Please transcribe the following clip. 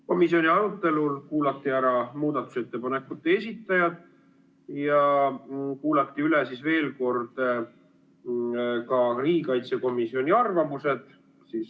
Komisjoni arutelul kuulati ära muudatusettepanekute esitajad ja kuulati veel kord ära ka riigikaitsekomisjoni arvamused.